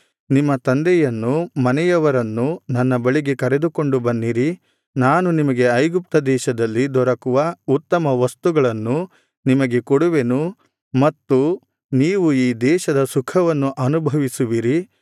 ನಿಮ್ಮ ತಂದೆಯನ್ನೂ ಮನೆಯವರನ್ನೂ ನನ್ನ ಬಳಿಗೆ ಕರೆದುಕೊಂಡು ಬನ್ನಿರಿ ನಾನು ನಿಮಗೆ ಐಗುಪ್ತ ದೇಶದಲ್ಲಿ ದೊರಕುವ ಉತ್ತಮ ವಸ್ತುಗಳನ್ನು ನಿಮಗೆ ಕೊಡುವೆನು ಮತ್ತು ನೀವು ಈ ದೇಶದ ಸುಖವನ್ನು ಅನುಭವಿಸುವಿರಿ